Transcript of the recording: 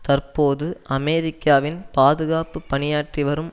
தற்போது அமெரிக்காவின் பாதுகாப்பு பணியாற்றி வரும்